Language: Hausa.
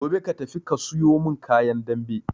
Gobe ka tafi ka suyo mun kayan dambe